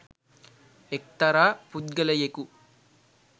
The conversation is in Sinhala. එක්තරා පුද්ගලයෙකු